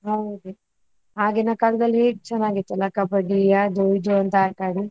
ಹೌದು ಆಗಿನ ಕಾಲದಲ್ಲಿ ಹೇಗೆ ಚೆನ್ನಾಗಿತ್ತಲ್ಲ Kabaddi ಅದು ಇದು ಅಂತ ಆಟಾಡಿ?